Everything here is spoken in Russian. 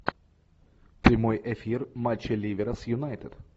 прямой эфир матча ливера с юнайтед